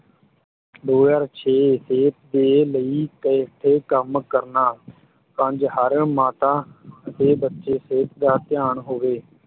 ਦੋ ਹਜ਼ਾਰ ਛੇ ਸਿਹਤ ਦੇ ਲਈ ਇਕੱਠੇ ਕੰਮ ਕਰਨਾ ਪੰਜ ਹਰ ਮਾਤਾ ਅਤੇ ਬੱਚੇ ਸਿਹਤ ਦਾ ਧਿਆਨ ਹੋਵੇ।